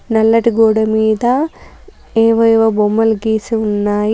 నల్లటి గోడ మీద ఏవేవో బొమ్మలు గీసి ఉన్నాయి.